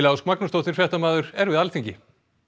Ósk Magnúsdóttir fréttamaður er við Alþingi